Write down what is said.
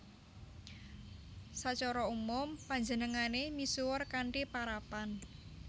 Sacara umum panjenengane misuwur kanthi parapan